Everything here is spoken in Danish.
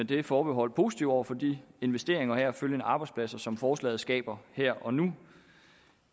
det forbehold positive over for de investeringer og heraf følgende arbejdspladser som forslaget skaber her og nu